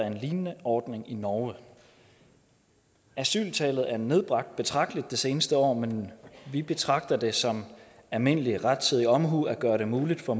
en lignende ordning i norge asyltallet er nedbragt betragteligt det seneste år men vi betragter det som en almindelig rettidig omhu at gøre det muligt for